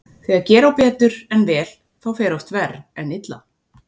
Þegar gera á betur en vel þá fer oft verr en illa.